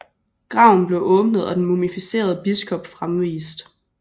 Graven blev åbnet og den mumificerede biskop fremvist